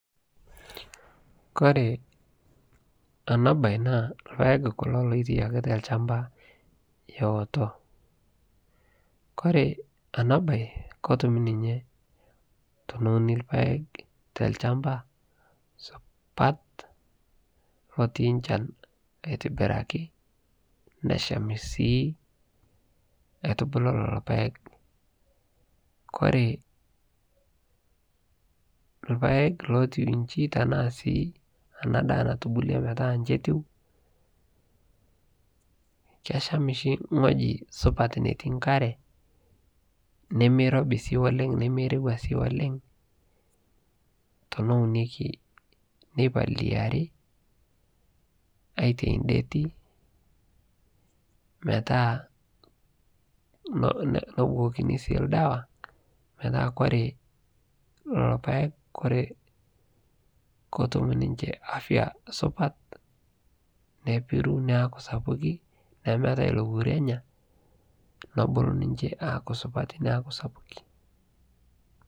Kore ana bayi naa lmpaek kulo lotiaki te lchaamba eoto. Kore ana bayi kotuum ninye te neunii lmpaek te lchaamba supat lotii lchaan etibirakii. Nesham sii aitubulu lolo mpaek. Kore lmpaek lotuwuechi tanaa ena ndaa natubulee meeta nchetuu. Keshaam sii nkooji supaat nemitii nkaree, nemeirobi sii oleng nameirewua sii oleng. Tonounoki nepaliari aitei ndeeti meeta noobokini sii ldewa meeta kore lolo mpaek kore kooutum ninchee afya supaat neipiru neaku sapuk. Nemeetai louoru enya neibuluu ninchee aaku supaati neeku sapukii.